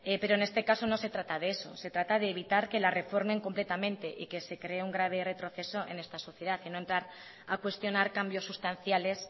pero en este caso no se trata de eso se trata de evitar que la reformen completamente y que se cree un grave retroceso en esta sociedad y no entrar a cuestionar cambios sustanciales